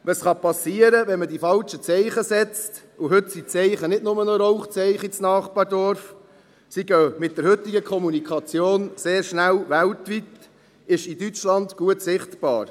Was passieren kann, wenn man die falschen Zeichen setzt – heute sind die Zeichen nicht nur noch Rauchzeichen ins Nachbarsdorf, sie gehen mit der heutigen Kommunikation sehr schnell weltweit –, ist in Deutschland gut sichtbar.